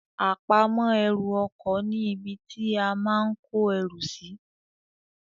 Àpamọ́ ẹrù ọkọ ní ibi tí a máa kó erù sì